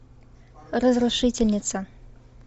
разрушительница